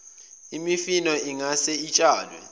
imifino ingase itshalwe